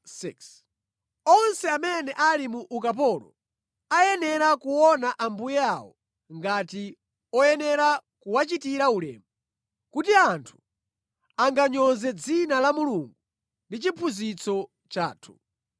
Onse amene ali mu ukapolo ayenera kuona ambuye awo ngati oyenera kuwachitira ulemu, kuti anthu anganyoze dzina la Mulungu ndi chiphunzitso chathu.